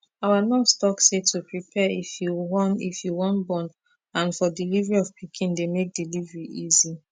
our nurse talk say to prepare if you wan if you wan born n for delivery of pikin dey make delivery easy